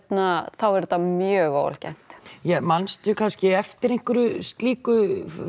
þá er þetta mjög óalgengt mannstu kannski eftir einhverju slíku